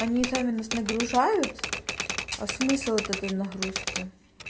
они сами нас нагружают а смысл от этой нагрузки